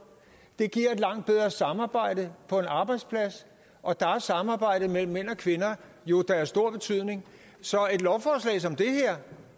det giver et langt bedre samarbejde på en arbejdsplads og der er samarbejdet mellem mænd og kvinder jo da af stor betydning så